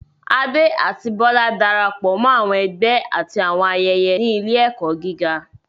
Ade àti Bola darapọ̀ mọ́ àwọn ẹgbẹ́ àti àwọn ayẹyẹ ní ilé-ẹ̀kọ́ gíga.